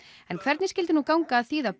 en hvernig skyldi nú ganga að þýða